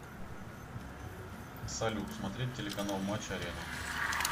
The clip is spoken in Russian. салют смотреть телеканал матч арена